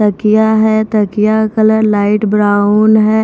तकिया है तकिया कलर लाइट ब्राउन है।